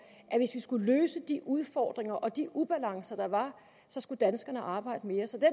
at hvis vi skulle løse de udfordringer og de ubalancer der var så skulle danskerne arbejde mere så den